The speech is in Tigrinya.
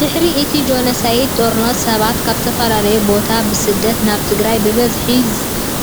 ድሕሪ እቲ ጆኖሶይዳዊ ጦርነት ሰባት ካብ ዝተፈለላዩ ቦታታት ብስደት ናብ ትግራይ ብብዝሒ